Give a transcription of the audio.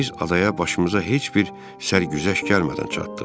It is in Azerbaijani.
Biz adaya başımıza heç bir sərgüzəşt gəlmədən çatdıq.